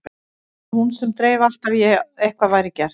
Það var hún sem dreif alltaf í að eitthvað væri gert.